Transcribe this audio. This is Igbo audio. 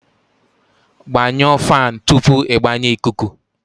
Gbanyụọ fan tupu ịgbanye ikuku